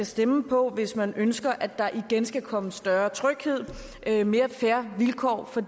stemme på hvis man ønsker at der igen skal komme større tryghed mere fair vilkår for